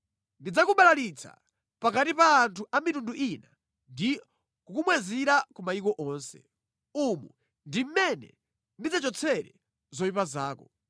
Ndidzakubalalitsani pakati pa anthu a mitundu ina ndi kukumwazirani ku mayiko onse. Umu ndi mmene ndidzachotsere zoyipa zako.